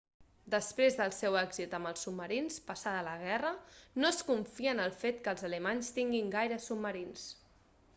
després del seu èxit amb els submarins passada la guerra no es confia en el fet que els alemanys tinguin gaires submarins